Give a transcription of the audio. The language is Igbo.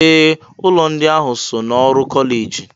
Ee! Ụlọ ndị ahụ so n'ọrụ kọleji.